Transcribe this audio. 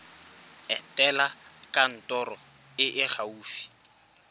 etela kantoro e e gaufi